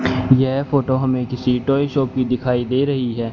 यह फोटो हमें किसी टॉय शाॅप की दिखाई दे रही है।